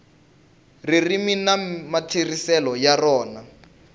ririmi na matirhiselo ya rona